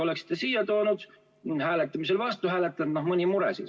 Oleksite siia toonud ja hääletamisel vastu hääletanud, no mõni mure siis.